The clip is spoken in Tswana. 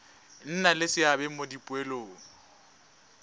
nna le seabe mo dipoelong